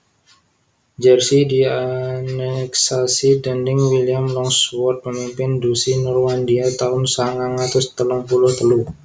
Jersey dianeksasi déning William Longsword pemimpin Duchy Normandia taun sangang atus telung puluh telu